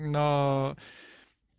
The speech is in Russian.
на